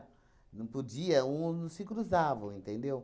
Não podia, um não se cruzavam, entendeu?